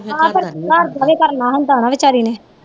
ਫੇਰ ਘਰਦਾ ਵੀ ਕਰਨਾ ਹੁੰਦਾ ਵਚਾਰੀ ਨੇ